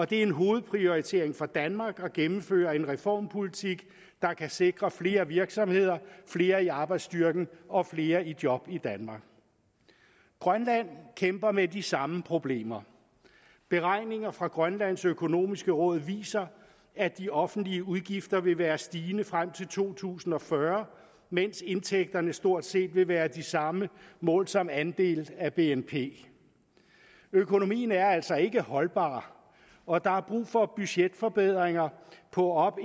det er en hovedprioritering for danmark at gennemføre en reformpolitik der kan sikre flere virksomheder flere i arbejdsstyrken og flere i job i danmark grønland kæmper med de samme problemer beregninger fra grønlands økonomiske råd viser at de offentlige udgifter vil være stigende frem til to tusind og fyrre mens indtægterne stort set vil være de samme målt som andel af bnp økonomien er altså ikke holdbar og der er brug for budgetforbedringer på op